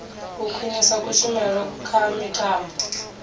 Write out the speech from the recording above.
u khwinisa kushumele kha mitambo